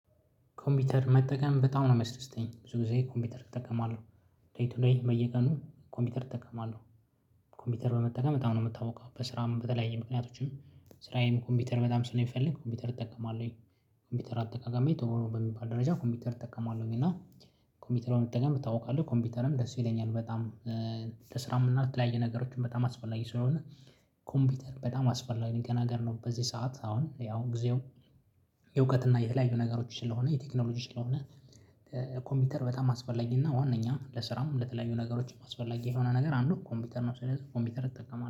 ኮምፒውተር መጠቀም በጣም ነው ሚያስደስተኝ ብዙ ጊዜ ኮምፒውተር እጠቀማለሁ ዴይ ቱ ዴይ በየቀኑ ኮምፒውተር እጠቀማለሁ። ኮምፒውተር በመጠቀም በጣም ነው የምታውቀው በስራም በተለያየ ምክንያቶችም ስራዬም ኮምፒውተር በጣም ስለሚፈልግ ኮምፒውተር እጠቀማለሁኝ። ኮምፒውተር አጠቃቀሜ ጥሩ በሚባል ደረጃ ኮምፒውተር እጠቀማለሁኝ እና ኮምፒውተር በመጠቀም እታወቃለህ ኮምፒውተርም ደስ ይለኛል በጣም። ለስራም እና ለተለያየ ነገሮችም በጣም አስፈላጊ ስለሆነ ኮምፒውተር በጣም አስፈላጊ ነገር ነው። በዚህ ሰዓት አሁን ያው ጊዜው የእውቀት እና የተለያዩ ነገሮች ስለሆነ የቴክኖሎጂ ስለሆነ። ኮምፒውተር በጣም አስፈላጊና ዋነኛ ለስራም ለተለያዩ ነገሮችም አስፈላጊ የሆነ ነገር አንዱ ኮምፒውተር ነው። ስለዚህ ኮምፒውተር እጠቀማለሁ